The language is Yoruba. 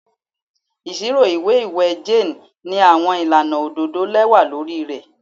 Iṣiro iwe iwẹ Jane ni awọn ilana ododo lẹwa lori rẹ